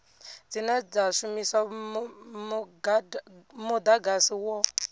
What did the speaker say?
dzine dza shumisa mudagasi wo